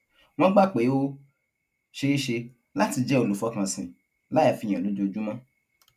wón gbà pé ó ṣeé ṣe láti jé olùfọkànsìn láì fi hàn lójoojúmó